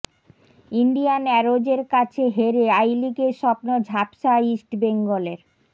Indian অ্যারোজের কাছে হেরে আই লিগের স্বপ্ন ঝাপসা ইস্টবেঙ্গলের